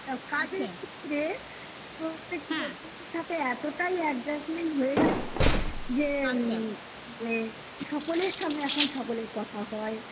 প্রত্যেকটা সাথে এতটাই adjustment হয়ে গেছে যে সকলের সঙ্গে এখন সকলের কথা হয়